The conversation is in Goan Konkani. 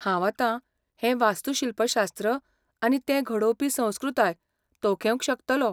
हांव आतां हें वास्तूशिल्पशास्त्र आनी तें घडोवपी संस्कृताय तोखेवंक शकतलों.